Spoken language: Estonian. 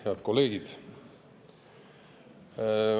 Head kolleegid!